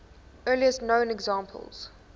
earliest known examples